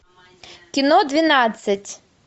кино двенадцать